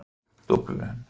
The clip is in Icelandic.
Dublin